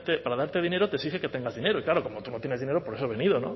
para darte dinero te exige que tengas dinero y claro como tú no tienes dinero por eso he venido